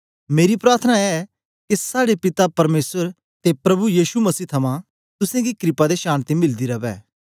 मेरी प्रार्थना ऐ के साड़े पिता परमेसर ते प्रभु यीशु मसीह थमां तुसेंगी क्रपा ते शान्ति मिलदी रवै